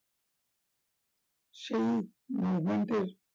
সেই movement এর